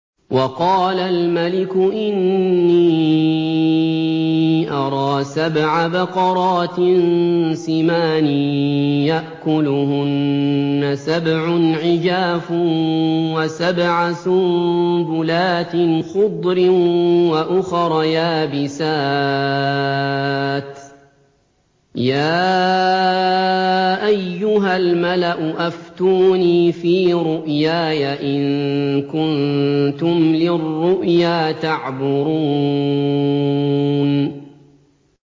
وَقَالَ الْمَلِكُ إِنِّي أَرَىٰ سَبْعَ بَقَرَاتٍ سِمَانٍ يَأْكُلُهُنَّ سَبْعٌ عِجَافٌ وَسَبْعَ سُنبُلَاتٍ خُضْرٍ وَأُخَرَ يَابِسَاتٍ ۖ يَا أَيُّهَا الْمَلَأُ أَفْتُونِي فِي رُؤْيَايَ إِن كُنتُمْ لِلرُّؤْيَا تَعْبُرُونَ